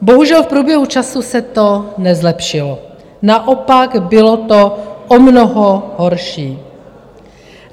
Bohužel v průběhu času se to nezlepšilo, naopak, bylo to o mnoho horší.